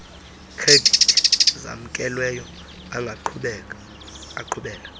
khredithi zamkelweyo angaqhubela